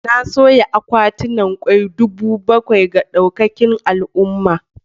Na soya akwatunan kwai dubu bakwai ga daukacin al'umma.